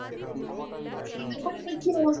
হম হম ঠিক বলেছেন।